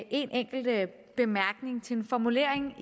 enkelt bemærkning til en formulering